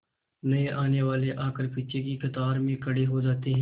नए आने वाले आकर पीछे की कतार में खड़े हो जाते हैं